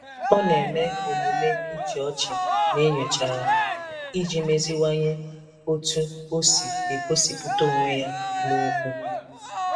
Ọ na-eme omume ịchị ọchị n'enyochara iji meziwanye otú o si egosipụta onwe ya n'okwu.